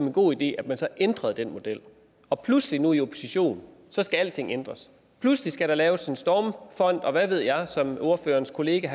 en god idé at man så ændrede den model og pludselig nu i opposition skal alting ændres pludselig skal der laves en stormfond og hvad ved jeg som ordførerens kollega